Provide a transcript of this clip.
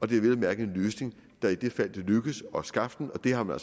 det er vel at mærke en løsning der i fald det lykkes at skaffe den og det har man